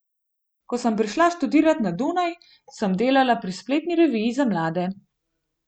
Ko sem prišla študirat na Dunaj, sem delala pri spletni reviji za mlade.